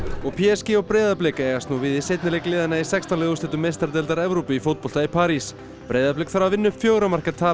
og p s g og Breiðablik eigast nú við í seinni leik liðanna í sextán liða úrslitum meistaradeildar Evrópu í fótbolta í París Breiðablik þarf að vinna upp fjögurra marka tap